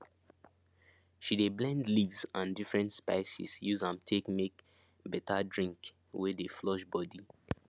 she de blend leaves and different spices use am take make better drink wey dey flush body